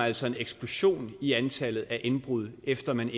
altså en eksplosion i antallet af indbrud efter at man